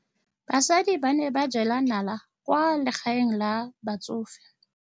Basadi ba ne ba jela nala kwaa legaeng la batsofe.